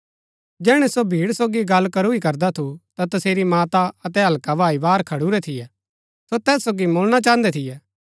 जैहणै सो भीड़ सोगी गल्ल करू ही करदा थु ता तसेरी माता अतै हल्का भाई बाहर खडुरै थियै सो तैस सोगी मुळणा चाहन्दै थियै